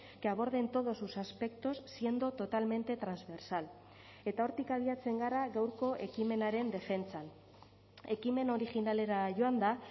que aborden todos sus aspectos siendo totalmente transversal eta hortik abiatzen gara gaurko ekimenaren defentsan ekimen originalera joanda